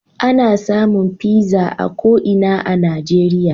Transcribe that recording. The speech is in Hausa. Ana samun pizza a ko ina a Najeriya.